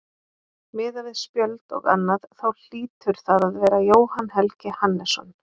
Miðað við spjöld og annað þá hlýtur það að vera Jóhann Helgi Hannesson.